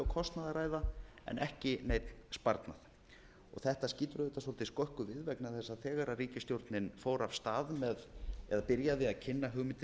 kostnaði að ræða en ekki neinn sparnað þetta skýtur auðvitað svolítið skökku við vegna þess að þegar ríkisstjórnin fór af stað með eða byrjaði að kynna hugmyndir